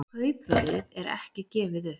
Kaupverðið er ekki gefið upp